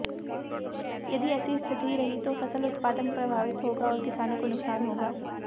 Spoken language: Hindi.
यदि ऐसी स्थिति रही तो फसल उत्पादन प्रभावित होगा और किसानों को नुकसान होगा